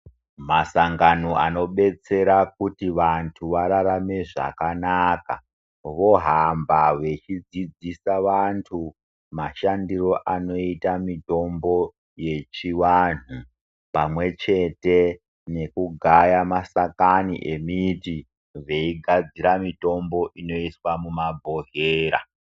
Masangano anodetsera vantu kuti vagare zvakanaka vohamba vachidzidzisa vantu mashandiro anoita mitombo yechivantu pamwechete nekugaya masakani emiti veigadzira mitombo inoiswa mumabhodhlera.